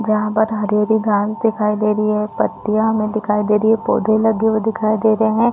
जहाँ पर हरी - हरी घास दिखाई दे रही है पत्तियां हमे दिखाई दे रही है पौधे लगे हुए दिखाई दे रहे है।